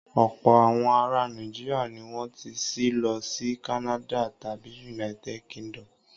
Ọ̀pọ̀ àwọn ará Nàìjíríà ni wọ́n ti ṣí lọ sí Canads tàbí United Kingdom.